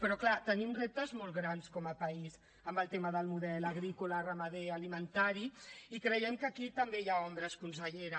però clar tenim reptes molt grans com a país en el tema del model agrícola ramader alimentari i creiem que aquí també hi ha ombres consellera